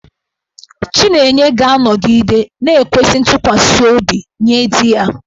Chinenye ga-anọgide na-ekwesị ntụkwasị obi nye di ya.